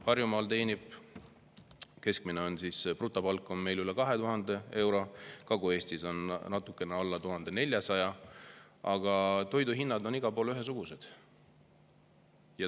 Harjumaal teenitakse keskmise brutopalgana üle 2000 euro, Kagu-Eestis on see natukene alla 1400, aga toiduhinnad on igal pool ühesugused.